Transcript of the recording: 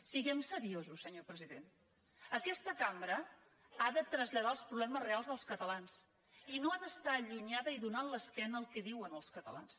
siguem seriosos senyor president aquesta cambra ha de traslladar els problemes reals dels catalans i no ha d’estar allunyada i donant l’esquena al que diuen els catalans